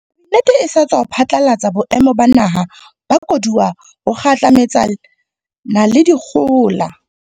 Kabinete e sa tswa phatlalatsa Boemo ba Naha ba Koduwa ho kgahlametsana le dikgohola.